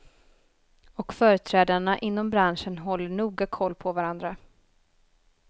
Och företrädarna inom branschen håller noga koll på varandra.